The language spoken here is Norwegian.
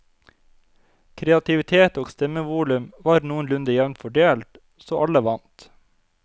Kreativitet og stemmevolum var noenlunde jevnt fordelt, så alle vant.